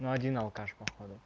но один алкаш по ходу